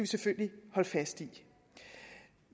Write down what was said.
selvfølgelig holde fast i